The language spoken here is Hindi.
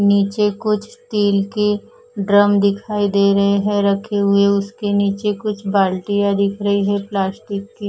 नीचे कुछ स्टील के ड्रम दिखाई दे रहे हैं रखे हुए उसके नीचे कुछ बाल्टियां दिख रही है प्लास्टिक की।